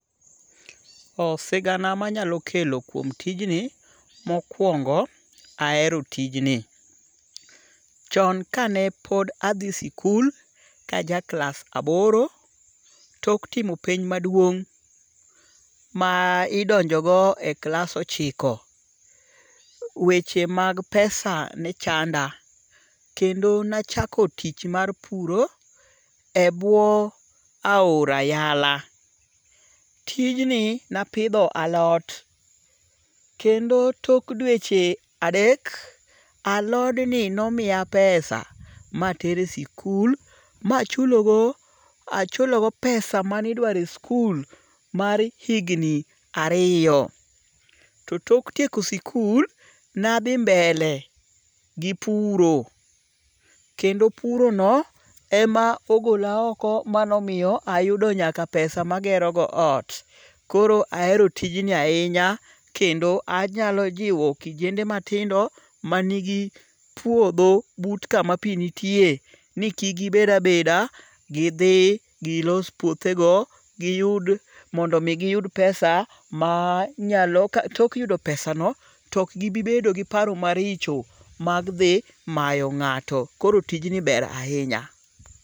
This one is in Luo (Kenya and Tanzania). Sigana manyalo kelo kuom tijni, mokwongo ahero tijni. Chon kane pod adhi sikul, kaja klas aboro. Tok timo penj maduong', ma idonjo go e klas ochiko. Weche mag pesa ne chanda. Kendo ne achako tich mar puro e buo aora yala. Tijni napidho alot. Kendo tok dweche adek, alod ni nomiya pesa ma atero e sikul ma achulo go pesa mane idwaro e sikul mar higni ariyo. To tok tieko sikul ne sdhi mbele gi puro. Kendo puro no ema ogola oko ma nomiyo ayudo nyaka pesa ma agero go ot. Koro ahero tijni ahinya kendo anyalo jiwo kijende matindo manigi puodho but kama pi nitie ni kik gibed abeda. Gidhi, gilos puothe go giyud, mondo mi giyud pesa manyalo tok yudo pesa no tok gibibedo gi paro maricho mag dhi mayo ng'ato. Koro tijni ber ahinya.